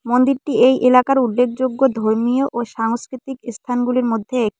মন্দিরটি এই এলাকার উল্লেখযোগ্য ধর্মীয় ও সাংস্কৃতিক ইস্থানগুলির মধ্যে এক--